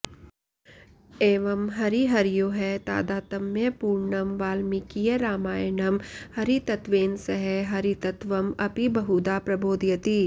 एवं हरिहरयोः तादात्म्यपूर्णं वाल्मीकीयरामायणं हरितत्त्वेन सह हरतत्त्वम् अपि बहुधा प्रबोधयति